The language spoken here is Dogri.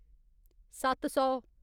सत्त सौ